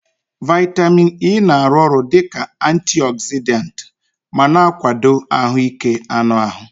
Vitamin E na-arụ ọrụ dị ka antiogzidant ma na-akwado ahụike anụ ahụ.